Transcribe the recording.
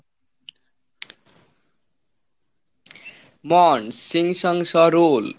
Korean